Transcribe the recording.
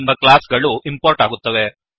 ಎಂಬ ಕ್ಲಾಸ್ ಗಳು ಇಂಪೋರ್ಟ್ ಆಗುತ್ತವೆ